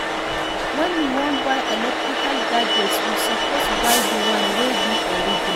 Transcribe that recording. When we wan buy electrical gadgets we suppose buy di one wey be original